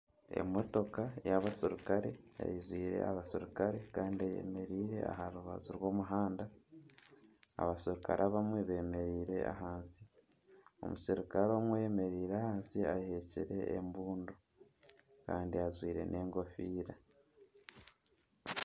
Emotoka ey'abaserikare eijwire abaserukare kandi eyemereire aha rubaju rw'omuhanda, abaserukare abamwe beemereire ahansi, omuserukare omwe oyemereire ahansi ahekire embundu kandi ajwire n'enkofiira